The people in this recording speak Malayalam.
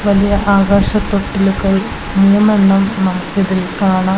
വലിയ ആകാശതൊട്ടിലൊക്കെയായി മൂന്നെണ്ണം നമുക്കിതിൽ കാണാം.